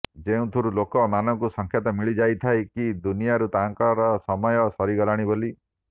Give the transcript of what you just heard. ଯେଉଁ ଥିରୁ ଲୋକ ମାନଙ୍କୁ ସଂକେତ ମିଳିଯାଇଥାଏ କି ଦୁନିରୁ ତାଙ୍କର ସମୟ ସରିଗଲାଣି ବୋଲି